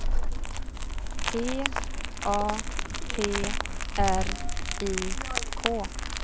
P A T R I K